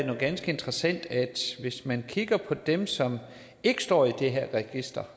noget ganske interessant hvis man kigger på dem som ikke står i det her register